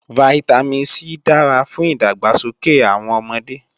Vitamin C dára fún ìdàgbàsókè àwọn ọmọdé